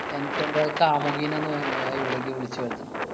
എനിക്കെന്‍റെ കാമൂകീനെ ഒന്ന് അഹ് ഇവിടേക്ക് വിളിച്ചു വരുത്തണം.